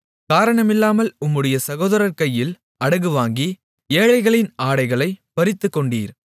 காரணமில்லாமல் உம்முடைய சகோதரர் கையில் அடகு வாங்கி ஏழைகளின் ஆடைகளைப் பறித்துக்கொண்டீர்